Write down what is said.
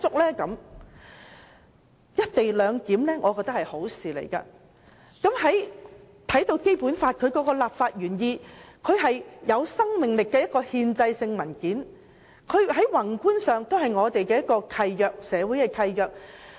我認為"一地兩檢"是一件好事，而觀乎《基本法》的立法原意，它是一份有生命力的憲制文件，在宏觀上亦屬社會契約。